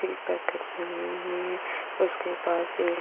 T packet है। उसके पास एक --